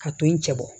A to in cɛ bɔ